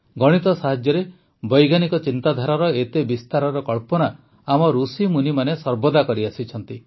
ଗଣିତ ସାହାଯ୍ୟରେ ବୈଜ୍ଞାନିକ ଚିନ୍ତାଧାରାର ଏତେ ବିସ୍ତାରର କଳ୍ପନା ଆମ ଋଷିମୁନିମାନେ ସର୍ବଦା କରିଆସିଛନ୍ତି